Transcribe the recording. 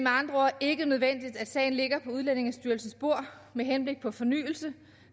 andre ord ikke nødvendigt at sagen ligger på udlændingestyrelsens bord med henblik på fornyelse